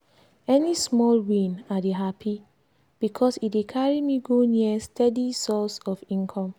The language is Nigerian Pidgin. any small win i dey happy because e dey carry me go near steady source of income.